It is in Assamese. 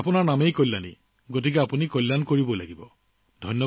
চাওক যিহেতু আপোনাৰ নাম কল্যাণী সেয়েহে আপুনি কল্যাণ কৰি থাকিব